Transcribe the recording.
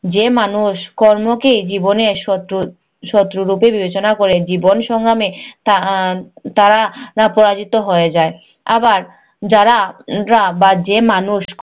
যে মানুষ কর্মকেই জীবনের শত্রু শত্রুরুপে বিবেচনা করে জীবন সংগ্রামে তা~ আহ তারা পরাজিত হয়ে যায়। আবার যারা যারা বা যে মানুষ